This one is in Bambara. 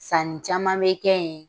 Sanni caman bɛ kɛ yen